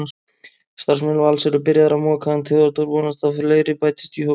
Starfsmenn Vals eru byrjaðir að moka en Theódór vonast að fleiri bætist í hópinn.